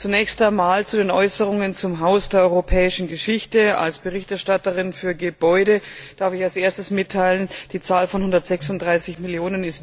Zunächst einmal zu den Äußerungen zum Haus der Europäischen Geschichte Als Berichterstatterin für Gebäude darf ich erstens mitteilen, die Zahl von 136 Mio.